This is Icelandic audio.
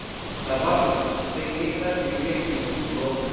Það varð úr að hann fengi eitt herbergi leigt í húsinu hjá okkur.